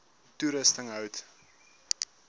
toerusting hout